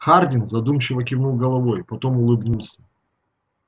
хардин задумчиво кивнул головой потом улыбнулся